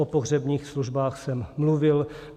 O pohřebních službách jsem mluvil.